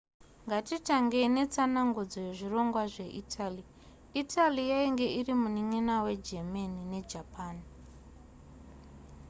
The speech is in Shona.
ngatitangei netsanangudzo yezvirongwa zveitaly italy yainge iri munin'ina wegermany nejapan